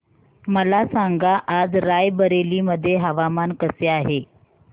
मला सांगा आज राय बरेली मध्ये हवामान कसे आहे